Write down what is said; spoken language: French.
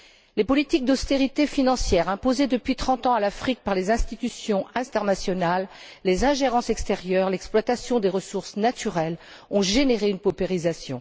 Les politiques d'austérité financière imposées depuis trente ans à l'Afrique par les institutions internationales, les ingérences extérieures, l'exploitation des ressources naturelles ont généré une paupérisation.